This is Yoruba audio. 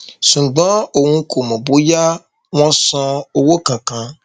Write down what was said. ṣùgbọn òun kò mọ bóyá wọn san owó kankan